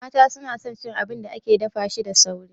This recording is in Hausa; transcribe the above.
Mata su na son cin abin da ake dafa shi da sauri